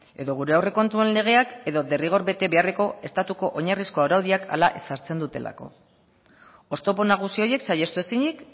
edo gure aurrekontuen legeak edo derrigor bete beharreko estatuko oinarrizko araudiak hala ezartzen dutelako oztopo nagusi horiek saihestu ezinik